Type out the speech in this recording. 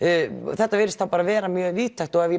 þetta virðist þá vera mjög víðtækt og ef ég